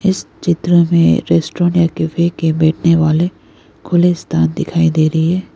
इस चित्र में रेस्टोरेंट है बैठने वाले खुले स्थान दिखाई दे रही है।